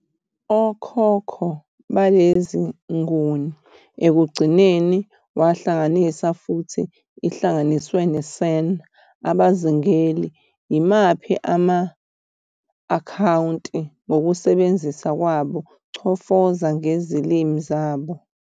Okhokho baleziNguni ekugcineni wahlangana futhi ihlanganiswe ne-San abazingeli, yimaphi ama-akhawunti ngokusebenzisa kwabo 'chofoza "ngezilimi zabo.